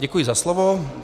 Děkuji za slovo.